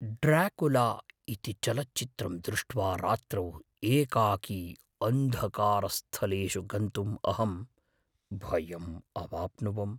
Dracula इति चलच्चित्रं दृष्ट्वा रात्रौ एकाकी अन्धकारस्थलेषु गन्त्तुम् अहं भयम् अवाप्नुवम्।